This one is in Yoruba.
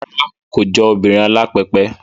Rárá, kò jọ obìnrin alápẹpẹ